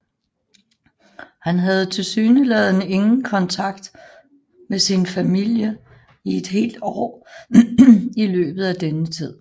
Han havde tilsyneladende ingen kontakt med sin familie i et helt år i løbet af denne tid